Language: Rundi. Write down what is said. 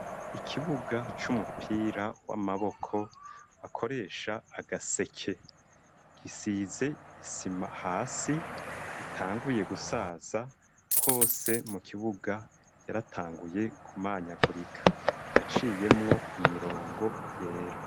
Ikibuga c'umupira w'amaboko bakoresha agaseke gisize isima hasi itanguye gusaza hose mu kibuga yaratanguye kumanyagurika iraciyemwo imirongo yera.